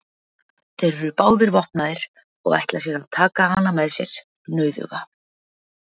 Þeir eru báðir vopnaðir og ætla að taka hana með sér nauðuga.